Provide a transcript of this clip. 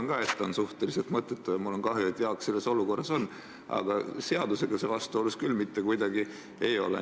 Ma arvan ka, et see on suhteliselt mõttetu, ja mul on kahju, et Jaak selles olukorras on, aga seadusega see vastuolus küll mitte kuidagi ei ole.